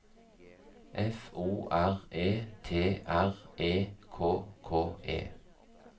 F O R E T R E K K E